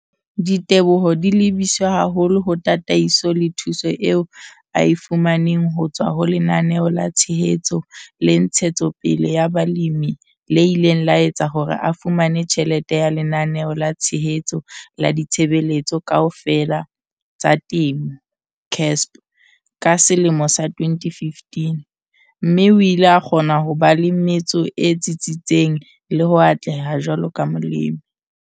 Diteboho di lebiswe haholo ho tataiso le thuso eo a e fu maneng ho tswa ho Lenaneo la Tshehetso le Ntshetsopele ya Balemi le ileng la etsa hore a fumane tjhelete ya Lenaneo la Tshehetso la Ditshebeletso Kaofela tsa Temo, CASP, ka selemo sa 2015, mme o ile a kgona ho ba le metso e tsitsitseng le ho atleha jwaloka Molemi.